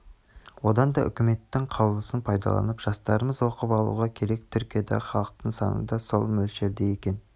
одан да үкметтің қаулысын пайдаланып жастарымыз оқып алуы керек түркиядағы халықтың саны да сол мөлшерде екен